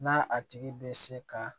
Na a tigi bɛ se ka